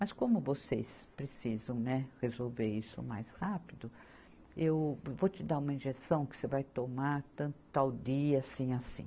Mas como vocês precisam, né, resolver isso mais rápido, eu vou te dar uma injeção que você vai tomar tan, tal dia, assim, assim.